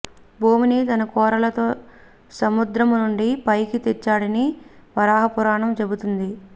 భూమిని తన కోరలతో సముద్రమునుండి పైకి తెచ్చాడని వరాహ పురాణం చెబుతుంది